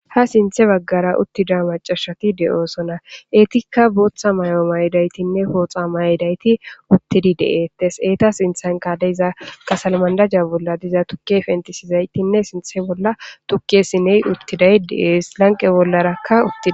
Ha sinte bagara utida macashati deosona etika bota mayoa mayidayitinne poxa mayidayiti utidi deates eta sintanka deiza kasalimadaja bola deiza tuke pentisizayitinne sinte bola tuke sine utizay deasi lanqe bolara utiday.